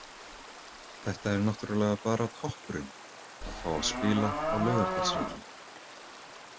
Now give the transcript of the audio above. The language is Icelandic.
Þetta er náttúrulega bara toppurinn, að fá að spila á Laugardalsvelli.